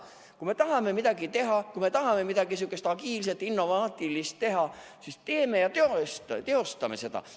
Kui me tahame midagi teha, kui me tahame midagi agiilset-innovaatilist teha, siis teeme ja teostame selle.